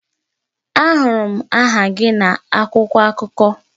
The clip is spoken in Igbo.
Ahụrụ m aha gị na akwụkwọ akụkọ